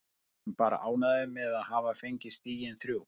Við erum bara ánægðir með að hafa fengið stigin þrjú.